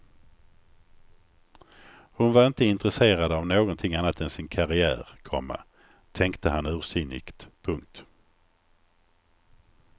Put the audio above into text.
Hon var inte intresserad av någonting annat än sin karriär, komma tänkte han ursinnigt. punkt